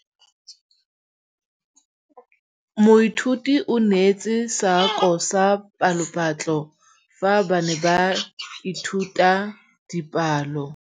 Moithuti o neetse sekaô sa palophatlo fa ba ne ba ithuta dipalo.